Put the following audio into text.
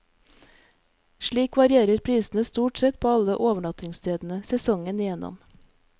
Slik varierer prisene stort sett på alle overnattingstedene, sesongen igjennom.